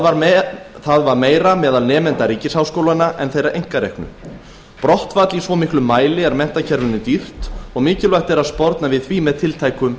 var meira meðal nemenda ríkisháskólanna en þeirra einkareknu brottfall í svo miklum mæli er menntakerfinu dýrt og mikilvægt er að sporna við því með tiltækum